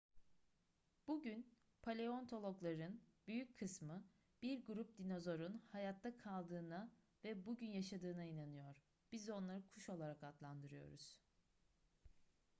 bugün paleontologların büyük kısmı bir grup dinozorun hayatta kaldığına ve bugün yaşadığına inanıyor biz onları kuş olarak adlandırıyoruz